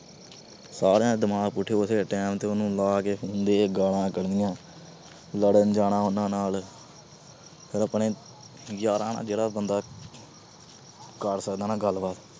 ਸਾਰੀਆਂ ਦਾ ਦਿਮਾਗ ਪੁੱਠੇ ਪਾਸੇਂ time ਤੇ ਉਹਨੂੰ ਲਾ ਕੇ phone ਦੇ ਗਾਲਾਂ ਕੱਢਣੀਆਂ। ਲੜਨ ਜਾਣਾ ਉਹਨਾਂ ਨਾਲ। ਫਿਰ ਆਪਣੇ ਯਾਰਾਂ ਨਾਲ ਜਿਹੜਾ ਬੰਦਾ ਕਰ ਸਕਦਾ ਨਾ ਗੱਲਬਾਤ